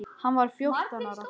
Hann var fjórtán ára.